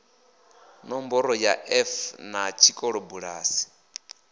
nomboro ya erf na tshikolobulasi